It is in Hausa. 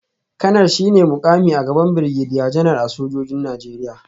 Kanar shi ne mukami a gaban Birgediya Janar a sojojin Najeriya